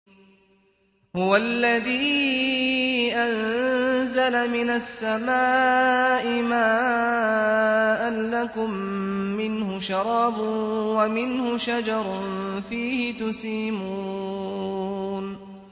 هُوَ الَّذِي أَنزَلَ مِنَ السَّمَاءِ مَاءً ۖ لَّكُم مِّنْهُ شَرَابٌ وَمِنْهُ شَجَرٌ فِيهِ تُسِيمُونَ